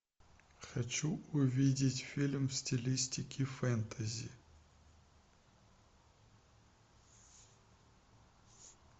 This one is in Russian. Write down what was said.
хочу увидеть фильм в стилистике фэнтези